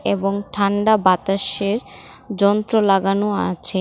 এবং ঠান্ডা বাতাসের যন্ত্র লাগানো আছে।